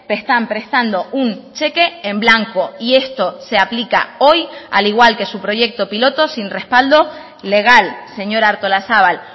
están prestando un cheque en blanco y esto se aplica hoy al igual que su proyecto piloto sin respaldo legal señora artolazabal